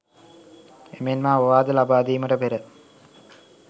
එමෙන්ම අවවාද ලබාදීමට පෙර